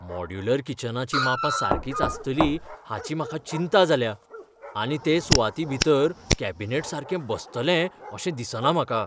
Modular किचनाचीं मापां सारकींच आसतलीं हाची म्हाका चिंता जाल्या आनी ते सुवातेभितर कॅबिनेट सारके बसतले अशें दिसना म्हाका.